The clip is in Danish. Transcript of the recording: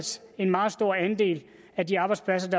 en meget stor andel af de arbejdspladser